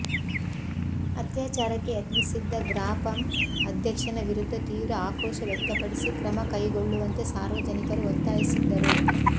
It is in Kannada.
ಅತ್ಯಾಚಾರಕ್ಕೆ ಯತ್ನಿಸಿದ್ದ ಗ್ರಾಪಂ ಅಧ್ಯಕ್ಷನ ವಿರುದ್ಧ ತೀವ್ರ ಆಕ್ರೋಶ ವ್ಯಕ್ತಪಡಿಸಿ ಕ್ರಮ ಕೈಗೊಳ್ಳುವಂತೆ ಸಾರ್ವಜನಿಕರು ಒತ್ತಾಯಿಸಿದ್ದರು